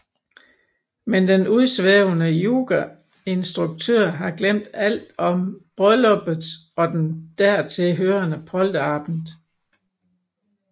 Men den udsvævende yogainstruktør har glemt alt om brylluppet og den dertilhørende polterabend